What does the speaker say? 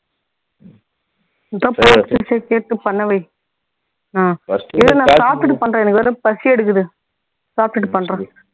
அதான் பாத்துட்டு சரி கேட்டுட்டு பண்ண வை அஹ் இரு நான் சாப்பிட்டுட்டு பண்றேன் எனக்கு வேற பசி எடுக்குது சாப்பிட்டுட்டு பண்றேன்